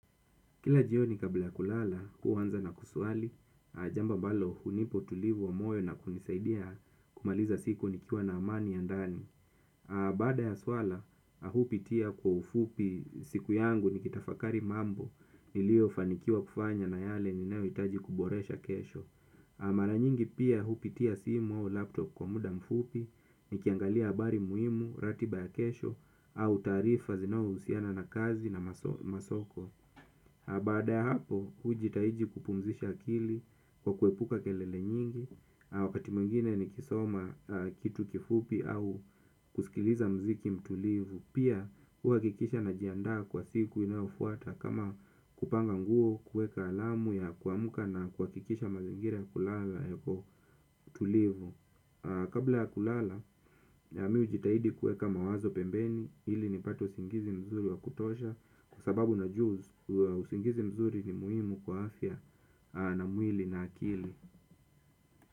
Kila jioni kabla ya kulala, huanza na kusuali, jambo ambalo hunipa utulivu wa moyo na kunisaidia kumaliza siku nikiwa na amani ya ndani. Baada ya swala, mi hupitia kwa ufupi siku yangu nikitafakari mambo, niliofanikiwa kufanya na yale ninayoitaji kuboresha kesho. Mara nyingi pia, hupitia simu au laptop kwa muda mfupi, nikiangalia habari muhimu, ratiba ya kesho, au taarifa zinazo husiana na kazi na masomo. Baada ya hapo, hujitahidi kupumzisha akili kwa kuepuka kelele nyingi. Wakati mwingine nikisoma kitu kifupi au kusikiliza mziki mtulivu pia huhakikisha najiandaa kwa siku inayofuata kama kupanga nguo kueka alamu ya kuamka na kuhakikisha mazingira ya kulala yapo tulivu. Kabla ya kulala, mi hujitahidi kueka mawazo pembeni ili nipate usingizi mzuri wa kutosha. Kwa sababu najua usingizi mzuri ni muhimu kwa afya na mwili na akili.